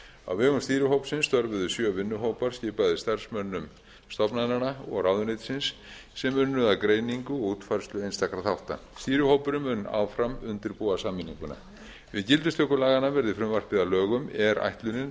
á vegum stýrihópsins störfuðu sjö vinnuhópar skipaðir starfsmönnum stofnananna og ráðuneytisins sem unnu að greiningu og útfærslu einstakra þátta stýrihópurinn mun áfram undirbúa sameininguna við gildistöku laganna verði frumvarpið að lögum er ætlunin